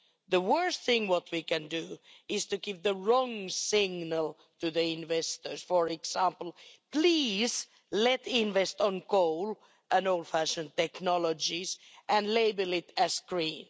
The worst thing we can do is give the wrong signal to investors for example, please let's invest in coal and old-fashioned technologies, and label it as green'.